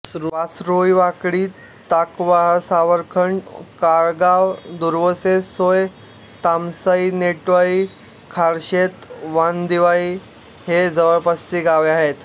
वासरोळी वाकडी ताकवहाळ सावरखंड कारळगाव दुर्वेस साये तामसई नेटाळी खारशेत वांदिवळी ही जवळपासची गावे आहेत